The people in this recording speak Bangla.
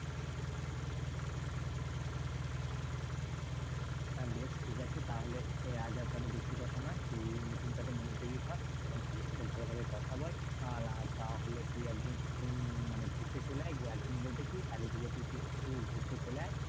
হ্যাঁ, বেশ ঠিকাছে তাহলে এর আজ আর তাহলে বেশি কথা নয়, তুই meeting টা তে মনোযোগী হ, এবং sir এর সাথে ভালোভাবে কথা বল, আর আহ তাহলে তুই একদিন মানে ঘুরতে চলে আয়, একদিন বলতে কি কালীপূজোতেই তুই ঘুরতে চলে আয়।